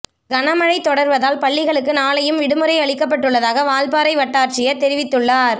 கனமழை தொடர்வதால் பள்ளிகளுக்கு நாளையும் விடுமுறை அளிக்கப்பட்டுள்ளதாக வால்பாறை வட்டாட்சியர் தெரிவித்துள்ளார்